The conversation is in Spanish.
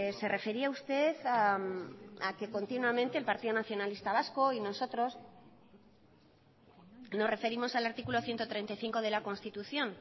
se refería usted a que continuamente el partido nacionalista vasco y nosotros nos referimos al artículo ciento treinta y cinco de la constitución